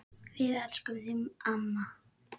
Við elskum þig, amma.